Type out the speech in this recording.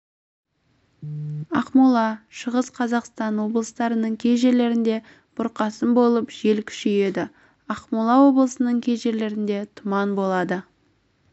ақмола шығыс қазақстан облыстарының кей жерлерінде бұрқасын болып жел күшейеді ақмола облысының кей жерлерінде тұман болады